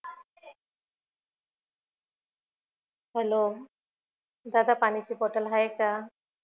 hello दादा पाण्याची bottle आहे का